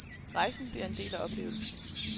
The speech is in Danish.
Rejsen bliver en del af oplevelsen.